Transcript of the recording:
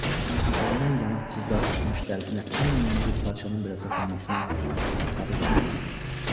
Sanki gündən yanıb cızdağı çıxmış dərisinə ən yüngül parçanın belə toxunmasına tabı qalmamışdı.